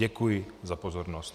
Děkuji za pozornost.